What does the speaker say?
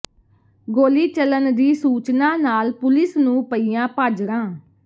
ਗੋਲੀ ਚੱਲਣ ਦੀ ਸੂਚਨਾ ਨਾਲ ਪੁਲਿਸ ਨੂੰ ਪਈਆਂ ਭਾਜੜਾਂ